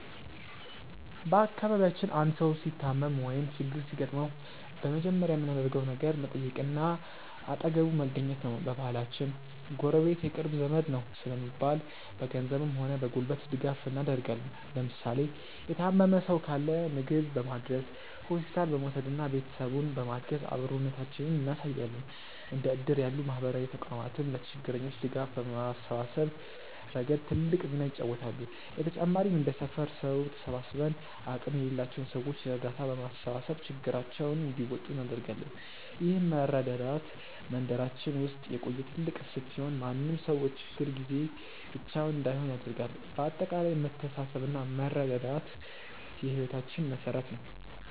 በአካባቢያችን አንድ ሰው ሲታመም ወይም ችግር ሲገጥመው በመጀመሪያ የምናደርገው ነገር መጠየቅና አጠገቡ መገኘት ነው። በባህላችን "ጎረቤት የቅርብ ዘመድ ነው" ስለሚባል፣ በገንዘብም ሆነ በጉልበት ድጋፍ እናደርጋለን። ለምሳሌ የታመመ ሰው ካለ ምግብ በማድረስ፣ ሆስፒታል በመውሰድና ቤተሰቡን በማገዝ አብሮነታችንን እናሳያለን። እንደ እድር ያሉ ማህበራዊ ተቋማትም ለችግረኞች ድጋፍ በማሰባሰብ ረገድ ትልቅ ሚና ይጫወታሉ። በተጨማሪም እንደ ሰፈር ሰው ተሰባስበን አቅም ለሌላቸው ሰዎች እርዳታ በማሰባሰብ ችግራቸውን እንዲወጡ እናደርጋለን። ይህ መረዳዳት በመንደራችን ውስጥ የቆየ ትልቅ እሴት ሲሆን፣ ማንም ሰው በችግር ጊዜ ብቻውን እንዳይሆን ያደርጋል። በአጠቃላይ መተሳሰብና መረዳዳት የህይወታችን መሠረት ነው።